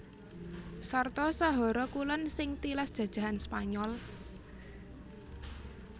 Sarta Sahara Kulon sing tilas jajahan Spanyol